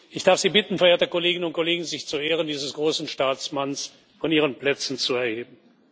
Ich darf Sie bitten, verehrte Kolleginnen und Kollegen, sich zu Ehren dieses großen Staatsmanns von Ihren Plätzen zu erheben.